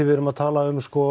við erum að tala